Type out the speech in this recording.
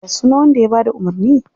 Ya sunan wanda ya bada umurni?